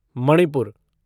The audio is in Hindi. मणिपुर